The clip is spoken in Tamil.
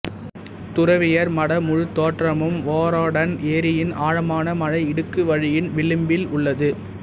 துறவியர் மட முழுத்தோற்றமும் வொரோடன் ஏரியின் ஆழமான மழை இடுக்கு வழியின் விளிம்பில் உள்ளது